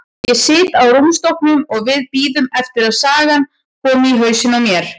Ég sit á rúmstokknum og við bíðum eftir að sagan komi í hausinn á mér.